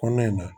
Kɔnɔ in na